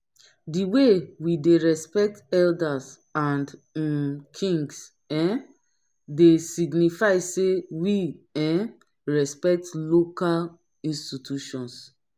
di way we dey respect elders and um kings um dey signify sey we um respect local institutions